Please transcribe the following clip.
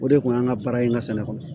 O de kun ye an ka baara in ka sɛnɛ kɔnɔ